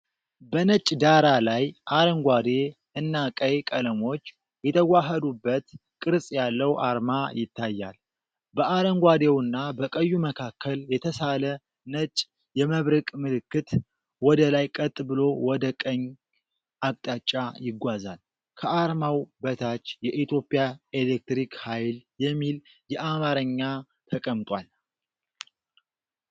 በነጭ ዳራ ላይ አረንጓዴ እና ቀይ ቀለሞች የተዋሃዱበት ቅርጽ ያለው አርማ ይታያል። በአረንጓዴውና በቀዩ መካከል የተሳለ ነጭ የመብረቅ ምልክት ወደ ላይ ቀጥ ብሎ ወደ ቀኝ አቅጣጫ ይጓዛል። ከአርማው በታች "የኢትዮጵያ ኤሌክትሪክ ኃይል" የሚል የአማርኛ ተቀምጧል።